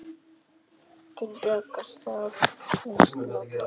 Til bjargar sál hins látna.